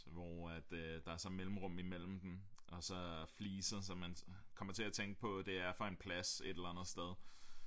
Hvor at øh der så er mellemrum imellem dem og så fliser så man kommer til at tænke på at det er fra en plads et eller andet sted